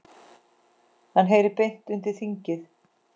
Hann heyri beint undir þingið.